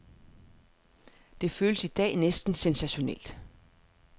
Det føles i dag næsten sensationelt.